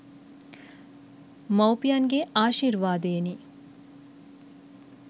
මව්පියන්ගේ ආශිර්වාදයෙනි.